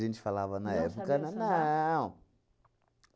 A gente falava na época... Não sabiam sambar? Não.